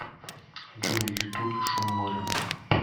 джой ютуб шум моря